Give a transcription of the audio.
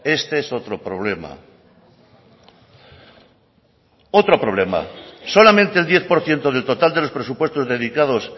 este es otro problema otro problema solamente el diez por ciento del total de los presupuestos dedicados